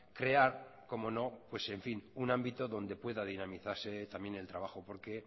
crear cómo no pues en fin un ámbito donde puede dinamitarse también el trabajo porque